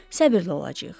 Səbirli olacağıq.